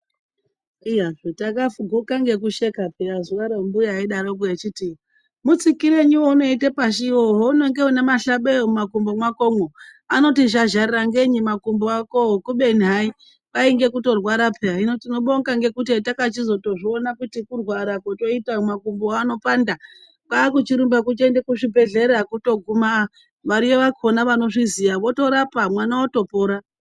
Iya tagakuga ngekusheka piya zuvaro mbuya eidaroko echiti "Mutsikirenyi eunoite pashi wo hauenge une mahlabeya mumakumbo mwakomo, anoti zhazharara ngenyi makumbo akowo" kubeni hai kwainge kutorwara piya hino tinobonga ngekuti hatakachizoto zviona kuti kurwara kotoita makumbo ano panda, kwaakuchirumba kuchiende kuzvi bhedhleya kutoguma mari yakona anozviziya votorapa mwana otopora.